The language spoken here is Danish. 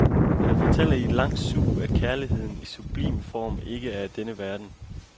Han fortæller i et langt sug, at kærligheden i sublim form ikke er af denne verden.